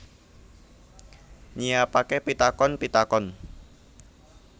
Nyiapake pitakon pitakon